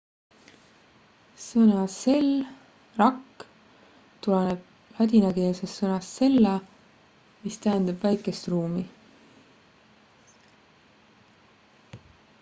sõna cell 'rakk' tuleb ladinakeelsest sõnast cella mis tähendab väikest ruumi